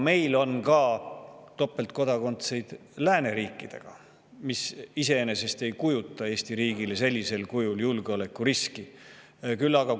Meil on ka topeltkodakondseid lääneriikidest, mis iseenesest sellisel kujul Eesti riigile julgeolekuriski ei kujuta.